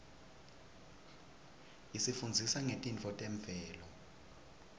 isifundzisa ngetintfo temvelo